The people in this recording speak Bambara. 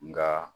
Nka